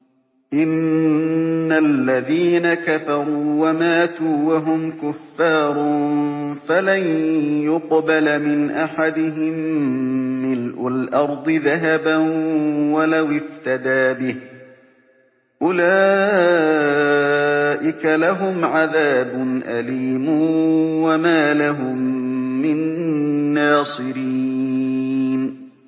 إِنَّ الَّذِينَ كَفَرُوا وَمَاتُوا وَهُمْ كُفَّارٌ فَلَن يُقْبَلَ مِنْ أَحَدِهِم مِّلْءُ الْأَرْضِ ذَهَبًا وَلَوِ افْتَدَىٰ بِهِ ۗ أُولَٰئِكَ لَهُمْ عَذَابٌ أَلِيمٌ وَمَا لَهُم مِّن نَّاصِرِينَ